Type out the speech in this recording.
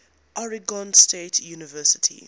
oregon state university